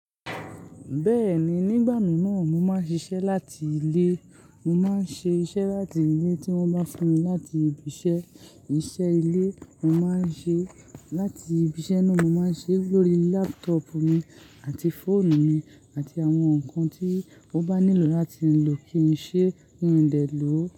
Bẹ́ẹ̀ni, nígbà mìíràn mo máa ń ṣiṣẹ́ láti ilé. Mo máa ń ṣe iṣẹ́ láti ilé tí wọ́n bá fún mi láti ibi iṣẹ́. Iṣẹ́ ilé mo máa ń ṣe, láti ibi iṣẹ́ náà mo máa ṣe lórí laptop mi àti fóònù mi àti àwọn nǹkan tí ó bá nílò láti lè lò kí n ṣe rí ń dẹ̀ ló.